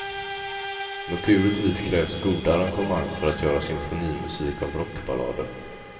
Naturligtvis krävs goda arrangemang för att göra symfonimusik av rockballader.